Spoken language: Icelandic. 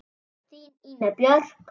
Þín, Ína Björk.